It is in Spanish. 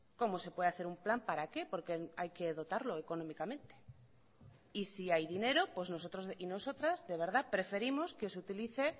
cómo se puede hacer un plan para qué porque hay que dotarlo económicamente y si hay dinero pues nosotros y nosotras de verdad preferimos que se utilice